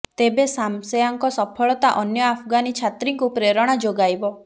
ତେବେ ଶାମସେଆଙ୍କ ସଫଳତା ଅନ୍ୟ ଆଫଗାନୀ ଛାତ୍ରୀଙ୍କୁ ପ୍ରେରଣା ଯୋଗାଇବ